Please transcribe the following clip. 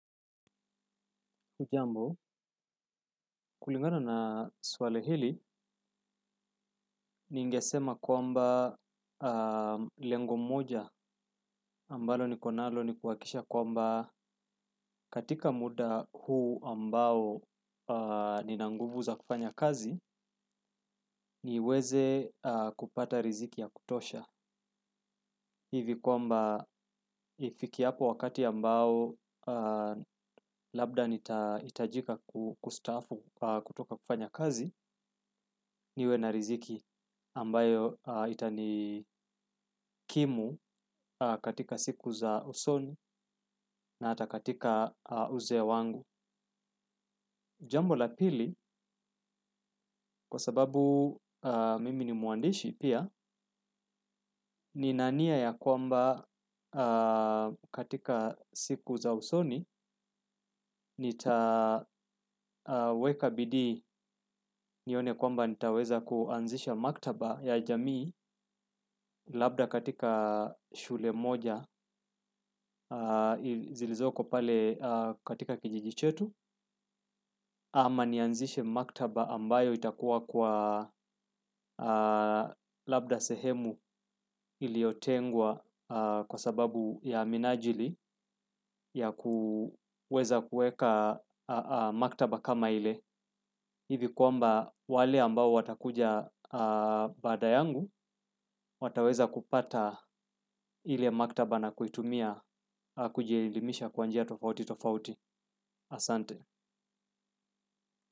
Hujambo, kulingana na swali hili, ningesema kwamba lengo moja ambalo ni konalo ni kuwakikisha kwamba katika muda huu ambao nina nguvu za kufanya kazi, niweze kupata riziki ya kutosha. Hivi kwamba ifike hapo wakati ambao labda nitajika kustafu kutoka kufanya kazi niwe na riziki ambayo itani kimu katika siku za usoni na hata katika uzee wangu. Jambo la pili kwa sababu mimi ni mwandishi pia nina nia ya kwamba katika siku za usoni nitaweka bidii nione kwamba nitaweza kuanzisha maktaba ya jamii labda katika shule moja zilizoko pale katika kijiji chetu. Ama nianzishe maktaba ambayo itakuwa kwa labda sehemu iliotengwa kwa sababu ya minajili ya kuweza kueka maktaba kama ile. Hivi kwamba wale ambao watakuja baada yangu wataweza kupata ile maktaba na kuitumia kujielimisha kwanjia tofauti tofauti asante.